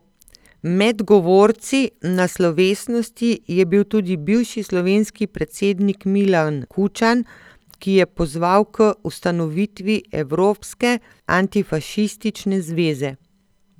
Med govorci na slovesnosti je bil tudi bivši slovenski predsednik Milan Kučan, ki je pozval k ustanovitvi evropske antifašistične zveze.